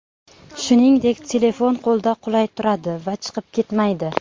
Shuningdek, telefon qo‘lda qulay turadi va chiqib ketmaydi.